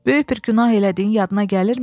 "Böyük bir günah elədiyin yadına gəlmir?"